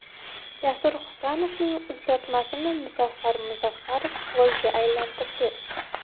Jasur Hasanovning uzatmasini Muzaffar Muzaffarov golga aylantirdi.